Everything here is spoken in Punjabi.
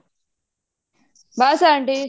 ਬੱਸ ਆਂਟੀ